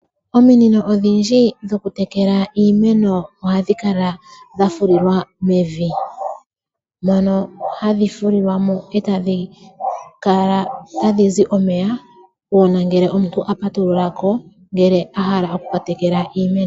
Ominino odhindji dhokutekela iimeno ohadhi kala dha fulilwa mevi. Mono hadhi fulilwa mo e tadhi kala tadhi zi omeya uuna omuntu a patulula ko a hala okutekela iimeno.